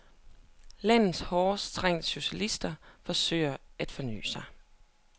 Landets hårdt trængte socialister forsøger at forny sig.